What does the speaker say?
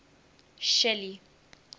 shelly